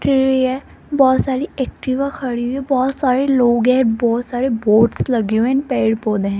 बहोत सारी एक्टिवा खड़ी है बहोत सारे लोग हैं बहोत सारे बोर्ड्स लगे हुए हैं पेड़ पौधे हैं।